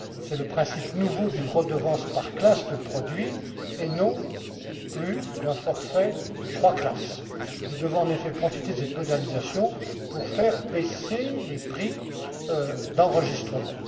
C'est le principe nouveau d'une redevance par classe de produits, et non plus d'un forfait trois classes. Nous devons en effet profiter de cette modernisation pour faire baisser les prix d'enregistrement.